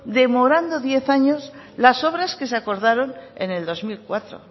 demorando diez años las obras que se acordaron en el dos mil cuatro